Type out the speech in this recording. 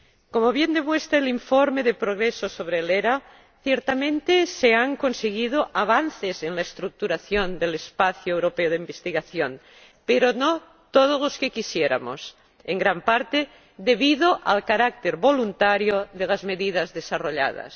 Como bien demuestra el informe de progreso sobre el ERA, ciertamente se han conseguido avances en la estructuración del espacio europeo de investigación, pero no todos los que quisiéramos, en gran parte debido al carácter voluntario de las medidas desarrolladas.